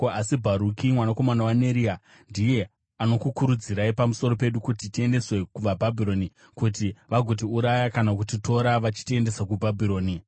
Asi Bharuki mwanakomana waNeria ndiye anokukurudzirai pamusoro pedu kuti tiendeswe kuvaBhabhironi, kuti vagotiuraya kana kutitora vachitiendesa kuBhabhironi.”